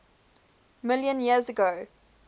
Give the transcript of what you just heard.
million years ago